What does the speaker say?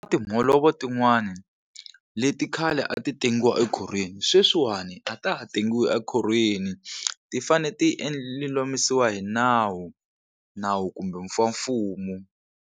Timholovo tin'wani leti khale a ti tengiwa ekhorhweni sweswiwani a ta ha tengiwi ekhorhweni ti fane ti lulamisiwa hi nawu nawu kumbe mfumo.